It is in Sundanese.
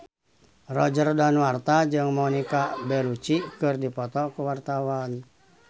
Roger Danuarta jeung Monica Belluci keur dipoto ku wartawan